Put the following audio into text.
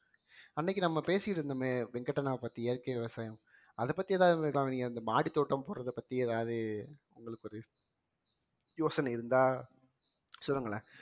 அன்னைக்கு நம்ம பேசிட்டு இருந்தோமே வெங்கட் அண்ணாவைப் பத்தி இயற்கை விவசாயம் அதைப் பத்தி ஏதாவது இந்த மாடித்தோட்டம் போடறதைப் பத்தி ஏதாவது உங்களுக்கு ஒரு யோசனை இருந்தா சொல்லுங்களேன்